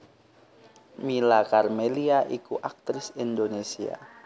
Mila Karmelia iku aktris Indonésia